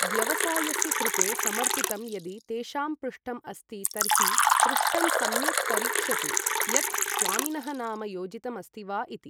व्यवसायस्य कृते समर्पितं यदि तेषां पृष्ठम् अस्ति तर्हि पृष्ठं सम्यक् परीक्षतु यत् स्वामिनः नाम योजितम् अस्ति वा इति।